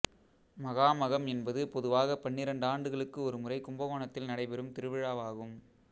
மகாமகம் என்பது பொதுவாகப் பன்னிரண்டு ஆண்டுகளுக்கு ஒரு முறை கும்பகோணத்தில் நடைபெறும் திருவிழாவாகும்